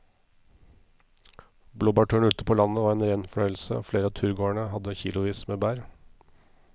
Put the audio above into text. Blåbærturen ute på landet var en rein fornøyelse og flere av turgåerene hadde kilosvis med bær.